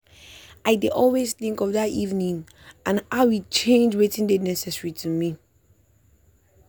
i dey always think of that evening and how e change wetin dey necessary to me.